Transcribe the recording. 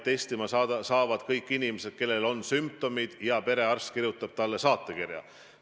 Testima saavad kõik inimesed, kellel on sümptomid ja kellele perearst on kirjutanud saatekirja.